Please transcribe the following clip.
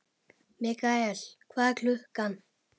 Mikael, hvað er klukkan?